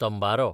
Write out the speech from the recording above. तंबारो